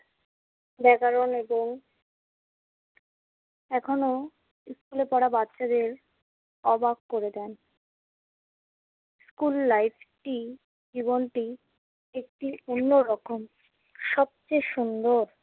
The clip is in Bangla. ব্যাকরণ এবং এখনও স্কুলে তারা বাচ্চাদের অবাক করে দেন। স্কুল life টি জীবনটি একটি অন্যরকম। সবচেয়ে সুন্দর